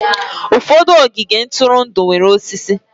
Ụfọdụ ogige ntụrụndụ nwere osisi.